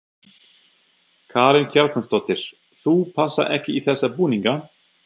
Karen Kjartansdóttir: Þú passar ekki í þessa búninga?